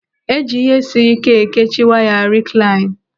Eji ihe siri ike ekechi waya riklain.